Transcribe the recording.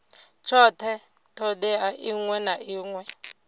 tshothe thodea iṅwe na iṅwe